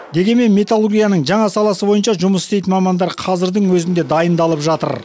дегенмен металлургияның жаңа саласы бойынша жұмыс істейтін мамандар қазірдің өзінде дайындалып жатыр